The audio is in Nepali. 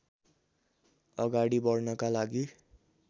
अगाडि बढ्नका लागि